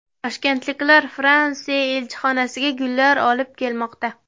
Toshkentliklar Fransiya elchixonasiga gullar olib kelmoqda.